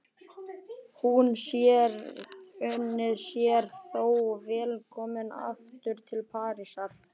Hún unir sér þó vel komin aftur til Parísar.